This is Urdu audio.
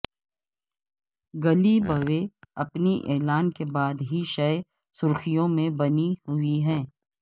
گلی بوےاپنی اعلان کے بعد ہی شہ سرخیوں میں بنی ہوئی ہے